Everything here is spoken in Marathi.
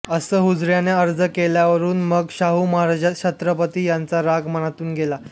असा हुजऱ्याने अर्ज केल्यावरुन मग शाहू महाराज छत्रपती यांचा राग मनातून गेला